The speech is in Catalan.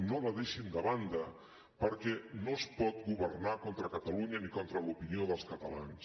no la deixin de banda perquè no es pot governar contra catalunya ni contra l’opinió dels catalans